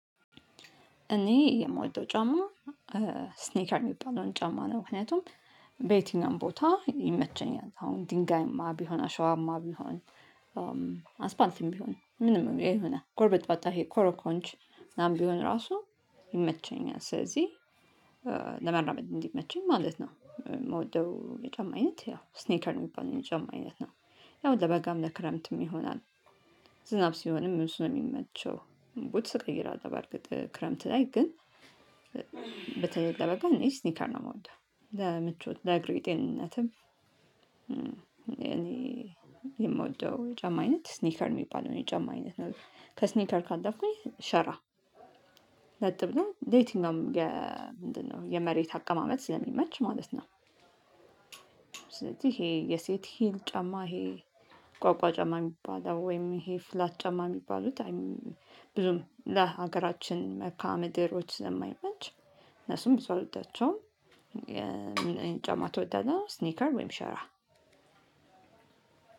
እኔ የምወደው ጫማ ስኔከር የሚባለውን ጫማ ነው። ምክንያቱም በየትኛውም ቦታ ይመቸኛል፤ አሁን ድንጋይማ ቢሆን፣ አሸዋማ ቢሆን፣ አስፓልትም ቢሆን፣ ምንም ቢሆን ይሆናል። ጎርበጥባጣ ይሄ ኮሮኮንች ምናምን ቢሆን ራሱ ይመቸኛል። ስለዚህ ለመራመድ እንዲመቸኝ ማለት ነው። ምወደው የጫማ አይነት ያው ስኔከር የሚባለው የጫማ አይነት ነው ያው ለበጋም፣ ለክረምትም ይሆናል። ዝናብ ሲሆንም እሱ ነው የሚመቸው፤ ቡትስ ቀይራለሁ በእርግጥ ክረምት ላይ፤ ግን በተለይ ለበጋ እኔ ስኔከር ነው የምወደው። ለምቾት፣ ለአግሬ ጤንነትም እኔ የምወደው ጫማ አይነት ስኔከር የሚባለው የጨማ አይነት ነው። ከስኔከር ካለፍኩኝ ሻራ ለጥ ብሎ ለየትኛውም ምንድነው? የመሬት አቀማመጥ ስለሚመች ማለት ነው። ስለዚህ ይሄ የሴት ሂል ጨማ፤ ይሄ ቋቋ ጨማ የሚባለው፤ ወይም ይሄ ፍላት ጨማ የሚባሉት ብዙም ለሀገራችን መልካ ምድሮች ስለማይመች እነሱም ብዙ አልወዳቸውም። የምን ጫማ ትወዳለህ? ስኔከር ወይም ሻራ።